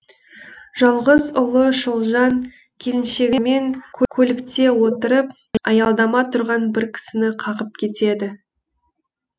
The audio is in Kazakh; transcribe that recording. жалғыз ұлы шолжаң келіншегімен көлікте отырып аялдама тұрған бір кісіні қағып кетеді